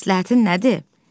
Məsləhətin nədir?